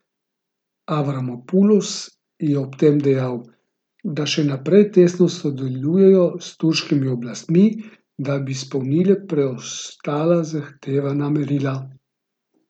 Avramopulos je ob tem dejal, da še naprej tesno sodelujejo s turškimi oblastmi, da bi izpolnile preostala zahtevana merila.